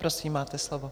Prosím, máte slovo.